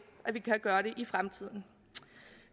at vi kan gøre det i fremtiden